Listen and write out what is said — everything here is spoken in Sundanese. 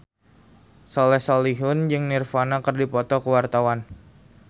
Soleh Solihun jeung Nirvana keur dipoto ku wartawan